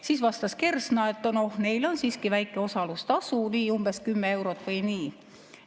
Siis vastas Kersna, et neil on siiski väike osalustasu, umbes kümme eurot või nii.